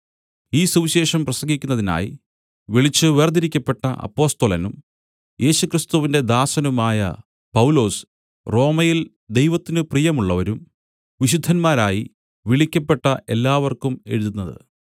ഈ സുവിശേഷം പ്രസംഗിക്കുന്നതിനായി വിളിച്ച് വേർതിരിക്കപ്പെട്ട അപ്പൊസ്തലനും യേശുക്രിസ്തുവിന്റെ ദാസനുമായ പൗലോസ് റോമയിൽ ദൈവത്തിന് പ്രിയമുള്ളവരും വിശുദ്ധന്മാരായി വിളിക്കപ്പെട്ട എല്ലാവർക്കും എഴുതുന്നത്